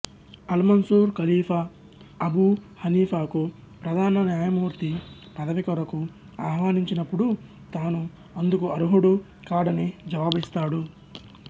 అల్మన్సూర్ ఖలీఫా అబూ హనీఫాకు ప్రధాన న్యాయమూర్తి పదవికొరకు ఆహ్వానించినపుడు తాను అందుకు అర్హుడు కాడని జవాబిస్తాడు